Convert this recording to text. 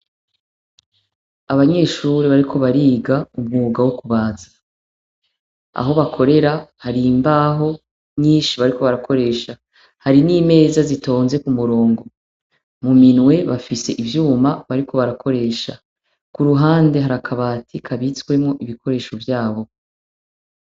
Abanyeshuri bariko bariga umwuga wo kubaza aho bakorera har’imbaho nyinshi bariko barakoresha, hari n'imeza zitonze ku murongo mu minwe bafise ivyuma bariko barakoresha ,ku ruhande harakabati kabitswemwo ibikoresho vyabo.